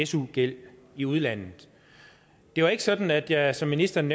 su gæld i udlandet det var ikke sådan at jeg som ministeren